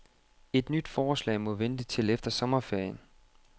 Et nyt forslag må vente til efter sommerferien.